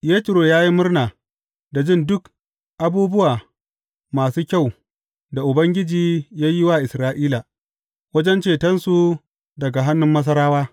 Yetro ya yi murna da jin duk abubuwa masu kyau da Ubangiji ya yi wa Isra’ila, wajen cetonsu daga hannun Masarawa.